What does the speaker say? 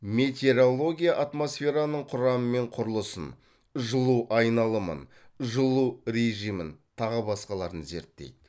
метеорология атмосфераның құрамы мен құрылысын жылу айналымын жылу режимін тағы басқаларын зерттейді